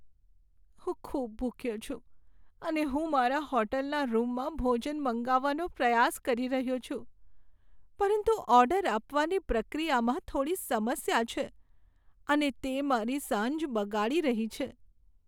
હું ખૂબ ભૂખ્યો છું, અને હું મારા હોટલના રૂમમાં ભોજન મંગાવવાનો પ્રયાસ કરી રહ્યો છું, પરંતુ ઓર્ડર આપવાની પ્રક્રિયામાં થોડી સમસ્યા છે, અને તે મારી સાંજ બગાડી રહી છે.